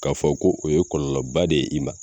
K'a fɔ ko o ye kɔlɔba de ye i ma